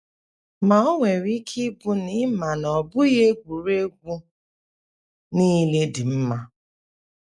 Ma o nwere ike ịbụ na ị ma na ọ bụghị egwuregwu niile dị mma.